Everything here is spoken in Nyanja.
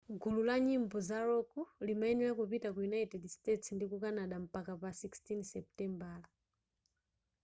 gulu la nyimbo za rock limayenera kupita ku united states ndi canada mpaka pa 16 seputembala